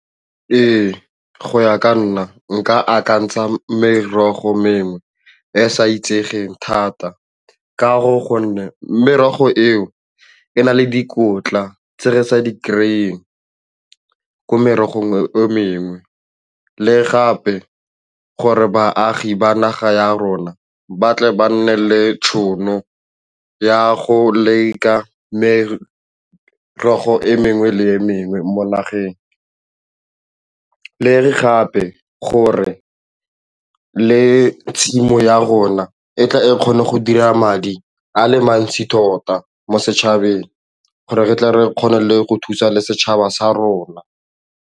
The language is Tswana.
Ee, go ya ka nna nka akantsha merogo mengwe e e sa itsegeng thata ka gore gonne merogo eo e na le dikotla tse re sa di kry-eng ko merogong mengwe le gape gore baagi ba naga ya rona ba tle ba nne le tšhono ya go leka mare e mengwe le mengwe mo nageng. Le fape gore le tshimo ya rona e tla e kgone go dira madi a le mantsi tota mo setšhabeng gore re tle re kgone le go thusa le setšhaba sa rona.